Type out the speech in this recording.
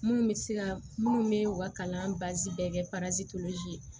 Minnu bɛ se ka minnu bɛ u ka kalan baasi bɛɛ kɛ ye